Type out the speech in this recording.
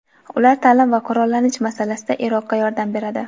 Ular ta’lim va qurollanish masalasida Iroqqa yordam beradi.